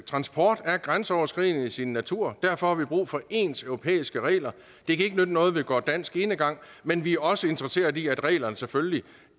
transport er grænseoverskridende i sin natur og derfor har vi brug for ens europæiske regler det kan ikke nytte noget at vi går dansk enegang men vi er også interesseret i at reglerne selvfølgelig